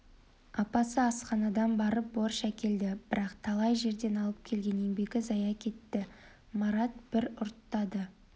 апасы асханадан барып борщ әкелді бірақ талай жерден алып келген еңбегі зая кетті марат бір ұрттады